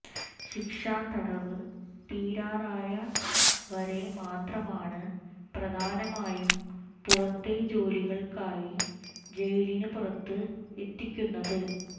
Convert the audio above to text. ശിക്ഷാ തടവ് തീരാറായ വരെ മാത്രമാണ് പ്രധാനമായും പുറത്തെ ജോലികൾക്കായി ജയിലിന് പുറത്ത് എത്തിക്കുന്നത്